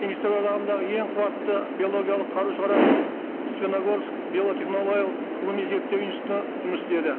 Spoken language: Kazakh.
кеңестер одағындағы ең қуатты биологиялық қару шығаратын степногорск биотехнологиялық ғылыми зерттеу институты жұмыс істеді